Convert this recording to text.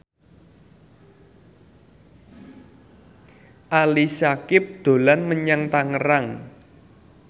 Ali Syakieb dolan menyang Tangerang